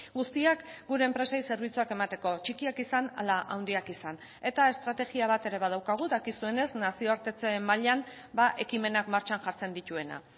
guztiak gure enpresei zerbitzuak emateko txikiak izan ala handiak izan eta estrategia bat ere badaukagu dakizuenez nazioartetze mailan ekimenak martxan jartzen dituena